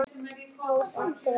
Ár eftir ár.